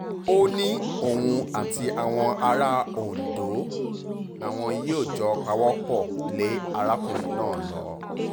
ó ní òun àti àwọn ará ondo làwọn yóò jọ pawọ́ pọ̀ lé arákùnrin náà lọ